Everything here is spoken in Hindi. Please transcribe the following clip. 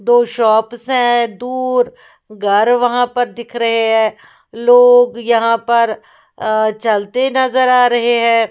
दो शॉप्स है दूर घर वहाँ पर दिख रहे हैं लोग यहाँ पर अ चलते नज़र आ रहे हैं।